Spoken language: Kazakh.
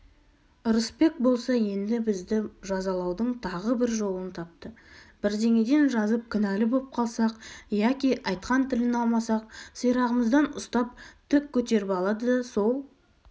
ырысбек болса енді бізді жазалаудың тағы бір жолын тапты бірдеңеден жазып кінәлі боп қалсақ яки айтқан тілін алмасақ сирағымыздан ұстап тік көтеріп алады да сол